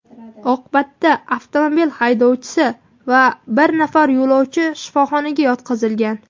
Oqibatda avtomobil haydovchisi va bir nafar yo‘lovchi shifoxonaga yotqizilgan.